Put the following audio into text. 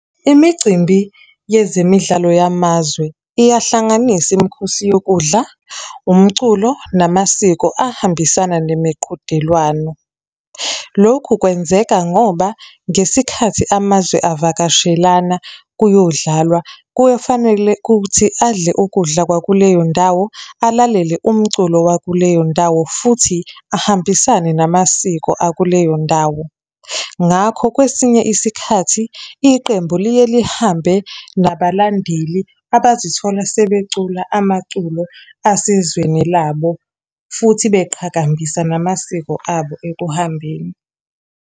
Imicimbi yezemidlalo yamazwe, iyahlanganisa imikhosi yokudla, umculo, namasiko ahambisana nemiqhudelwano. Lokhu kwenzeka ngoba, ngesikhathi amazwe avakashelana, kuyodlalwa, kuye fanele kuthi adle ukudla kwakuleyo ndawo, alalele umculo wakuleyo ndawo, futhi ahambisane namasiko akuleyo ndawo. Ngakho kwesinye isikhathi, iqembu liye lihambe nabalandeli abazithola sebecula amaculo asezweni labo. Futhi beqhakambisa namasiko abo ekuhambeni.